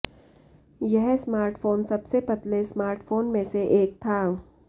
यह स्मार्टफोन सबसे पतले स्मार्टफोन में से एक था